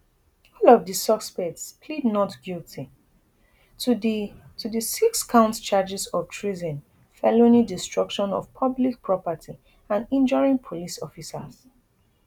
all of di suspects plead not guilty to di to di sixcount charges of treason felony destruction of public property and injuring police officers